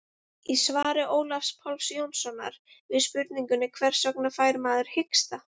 í svari ólafs páls jónssonar við spurningunni hvers vegna fær maður hiksta